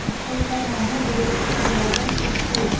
school का नाम है गुरुकुल ग्लोबल स्कूल --